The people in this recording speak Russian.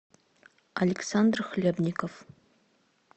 александр хлебников